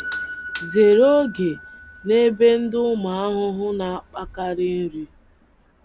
um Zere oge um na ebe ndị ụmụ ahụhụ na - akpakarị nri.